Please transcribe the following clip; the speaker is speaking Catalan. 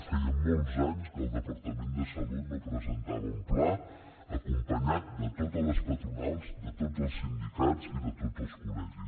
feia molts anys que el departament de salut no presentava un pla acompanyat de totes les patronals de tots els sindicats i de tots els col·legis